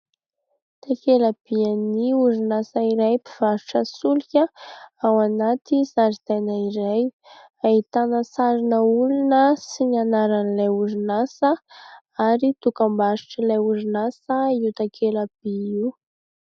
Takela-bin'ny orionasa iray mpivarotra solika ao anaty zaridaina iray. Ahitana sarina olona sy ny anaran'ilay orinasa ary dokam-barotr'ilay orinasa io takela-by io.